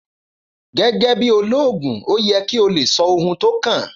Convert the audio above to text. Gẹ́gẹ́ bí olóògùn ó yẹ kí o lè sọ ohun tó kàn